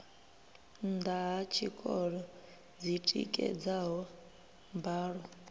nnda ha tshikolo dzitikedzaho mbalo